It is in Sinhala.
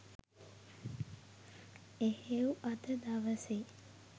එහෙව් අද දවසේ